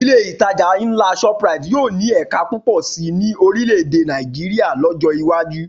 Ilé ìtajà ńlá Shoprite yóò ní ẹ̀ka púpọ̀ sí ní orílè èdè Nàìjíríà lọ́jọ́ iwájú